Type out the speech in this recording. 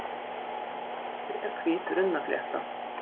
Hreindýramosi er hvít runnaflétta.